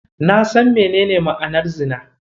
Na san menene ma'anar Zina.